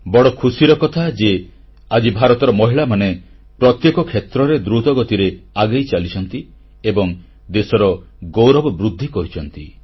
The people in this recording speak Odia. ବଡ଼ ଖୁସିର କଥାଯେ ଆଜି ଭାରତର ମହିଳାମାନେ ପ୍ରତ୍ୟେକ କ୍ଷେତ୍ରରେ ଦ୍ରୁତଗତିରେ ଆଗେଇ ଚାଲିଛନ୍ତି ଏବଂ ଦେଶର ଗୌରବବୃଦ୍ଧି କରିଛନ୍ତି